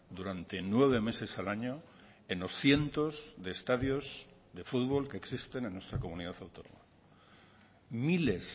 durante nueve meses al año en los cientos de estadios de futbol que existen en nuestra comunidad autónoma miles